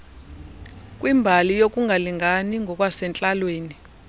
kwimbali yokungalingani ngokwasentlalweni